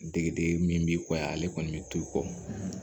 Degeden min b'i kɔ yan ale kɔni be t'o kɔ